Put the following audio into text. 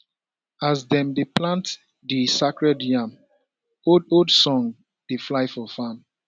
as dem dey plant di sacred yam oldold songs dey fly for farm